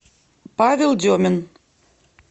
павел демин